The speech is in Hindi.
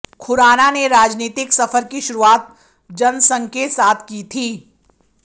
खुराना ने राजनीतिक सफर की शुरुआत जनसंघ के साथ की थी